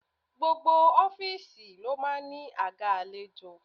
Gbogbo ọ́fíìsì ló máa ń ní àga àlejò.